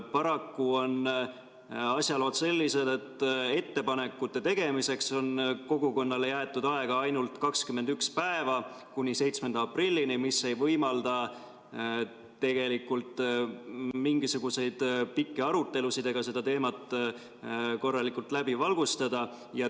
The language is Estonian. Paraku on asjalood sellised, et ettepanekute tegemiseks on kogukonnale jäetud aega ainult 21 päeva, kuni 7. aprillini, mis ei võimalda tegelikult mingisuguseid pikki arutelusid, ei saa seda teemat korralikult läbi valgustada.